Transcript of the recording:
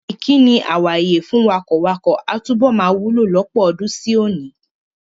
Ìkíni "àwàye" fún wakọ̀wakọ̀ a túbọ̀ máa wúlò lọ́pọ̀ ọdún sí òní.